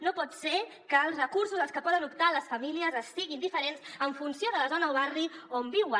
no pot ser que els recursos als que poden optar les famílies siguin diferents en funció de la zona o bar·ri on viuen